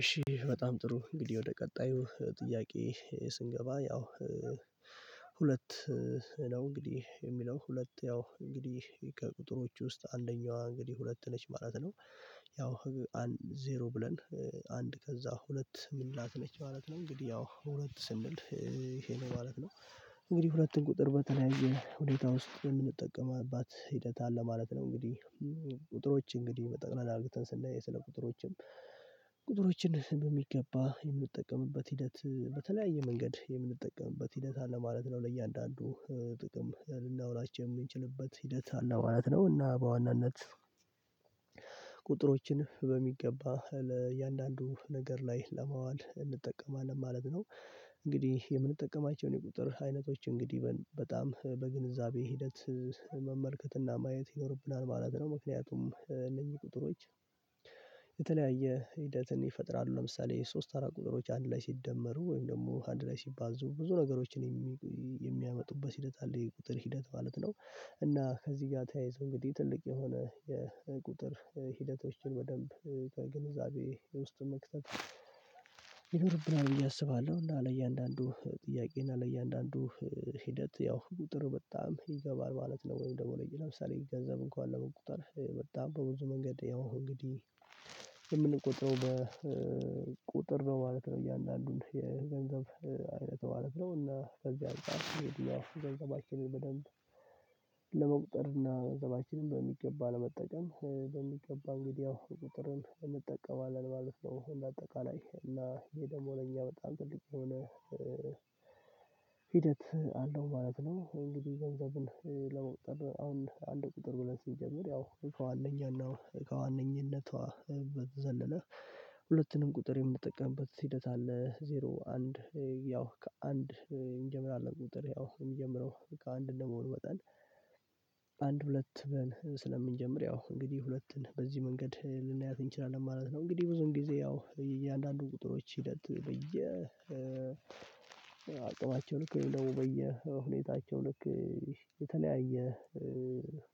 እሺ በጣም ጥሩ እንግዲህ ወደ ቀጣዩ ጥያቄ ስንገባ ያው ሁለት ነው እንግዲህ የሚለው ሁለት ያው እንግዲህ ቁጥሮች ውስጥ አንደኛዋ እንግዲህ ሁለት ነች ማለት ነው። ያው ህግ አንድ ዜሮ ብለን አንድ ከዛ ሁለት ምንላት ነች ማለት ነው። እንግዲህ ያው ሁለት ስንል ይሄ ነው ማለት ነው። እንግዲህ ሁለትን ቁጥር በተለያየ ሁኔታ ውስጥ የምንጠቀምባት ሂደት አለ ማለት ነው። እንግዲህ ቁጥሮች እንግዲህ በጠቅላላ አርግተን ስናይ ስለ ቁጥሮችም ቁጥሮችን በሚገባ የምንጠቀምበት ሂደት በተለያየ መንገድ የምንጠቀምበት ሂደት አለ ማለት ነው። ለእያንዳንዱ ጥቅም ልናውላቸው የሚችልበት ሂደት አለ ማለት ነው። እና በዋናነት ቁጥሮችን በሚገባ ለእያንዳንዱ ነገር ላይ ለማዋል እንጠቀማለን ማለት ነው። እንግዲህ የምንጠቀማቸውን የቁጥር አይነቶች እንግዲህ በጣም በግንዛቤ ሂደት መመልከትና ማየት ይኖርብናል ማለት ነው። ምክንያቱም ለእኚህ ቁጥሮች የተለያየ ሂደትን ይፈጥራሉ ለምሳሌ ሶስት አራት ቁጥሮች አንድ ላይ ሲደመሩ ወይም ደግሞ አንድ ላይ ሲባዙ ብዙ ነገሮችን የሚያመጡበት ሂደት አለ የቁጥር ሂደት ማለት ነው። እና ከዚህ ጋር ተያይዞ እንግዲህ ትልቅ የሆነ የቁጥር ሂደቶችን በደንብ ከግንዛቤ ውስጥ መክተት ይኖሩብናል ብዬ አስባለሁ። እና ለእያንዳንዱ ጥያቄ እና ለእያንዳንዱ ሂደት ያው ቁጥር በጣም ይገባል ማለት ነው። ወይም ደግሞ ለሌላ ምሳሌ ገንዘብ እንኳን ለመቁጠር በጣም በብዙ መንገድ ያው እንግዲህ የምንቆጥረው በቁጥር ነው ማለት ነው። እያንዳንዱን የገንዘብ አይነት ማለት ነው እና ከዚህ አንፃር ገንዘባችንን በደንብ ለመቁጠር እና ገንዘባችንን በሚገባ ለመጠቀም በሚገባ እንግዲህ ያው ቁጥርን እንጠቀማለን ማለት ነው። እንደ አጠቃላይ እና ይሄ ደግሞ ለእኛ በጣም ትልቅ የሆነ ሂደት አለው ማለት ነው። እንግዲህ ገንዘብን ለመቁጠር አሁን አንድ ቁጥር ብለን ሲጀምር ያው እኮ ከዋነኛና እኮዋነኝነቷ በዘለለ ሁለቱንም ቁጥር የምንጠቀምበት ሂደት አለ። ዜሮ አንድ ያው ከአንድ እንጀምራለን ቁጥር ያው የሚጀምረው ከአንድ እንደመሆን መጠን አንድ ሁለት ብለን ስለምንጀምር ያው እንግዲህ ሁለትን በዚህ መንገድ ልናያት እንችላለን ማለት ነው። እንግዲህ ብዙን ጊዜ ያው የእያንዳንዱን ቁጥሮች ሂደት በየ አቅማቸው ልክ ወይም ደግሞ በየሁኔታቸው ልክ የተለያየ